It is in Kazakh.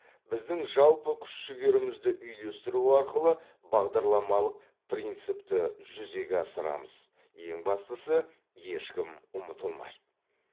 біздің жалпы күш жігерімізді үйлестіру арқылы бағдарламалық принципті жүзеге асырамыз ең бастысы ешкім ұмытылмайды